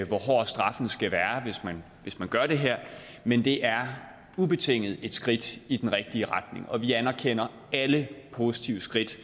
hvor hård straffen skal være hvis man gør det her men det er ubetinget et skridt i den rigtige retning og vi anerkender alle positive skridt